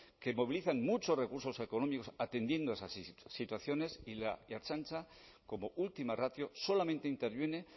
que movilizan muchos recursos económicos atendiendo esas situaciones y la ertzaintza como última ratio solamente interviene